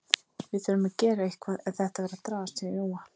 Við þurfum að gera eitthvað ef þetta fer að dragast hjá Jóa.